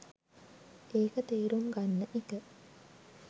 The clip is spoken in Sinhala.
ඒක තේරුම් ගන්න එක